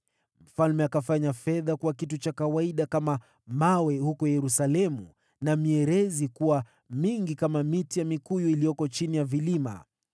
Mfalme akafanya fedha kuwa kitu cha kawaida kama mawe huko Yerusalemu, mierezi akaifanya kuwa mingi kama mikuyu vilimani.